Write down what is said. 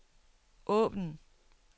åbn